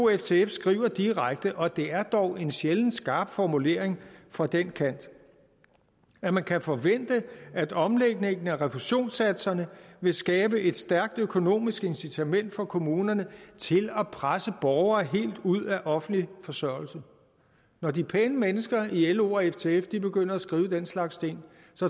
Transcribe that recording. ftf skriver direkte og det er dog en sjældent skarp formulering fra den kant at man kan forvente at omlægningen af refusionssatserne vil skabe et stærkt økonomisk incitament for kommunerne til at presse borgere helt ud af offentlig forsørgelse når de pæne mennesker i lo og ftf begynder at skrive den slags ting